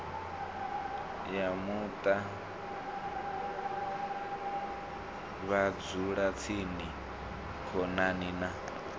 ya muṱa vhadzulatsini khonani na